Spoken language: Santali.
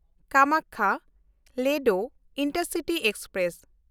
ᱠᱟᱢᱟᱠᱠᱷᱟ–ᱞᱮᱰᱳ ᱤᱱᱴᱟᱨᱥᱤᱴᱤ ᱮᱠᱥᱯᱨᱮᱥ